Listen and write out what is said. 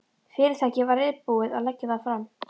Fyrirtækið væri reiðubúið að leggja það fram.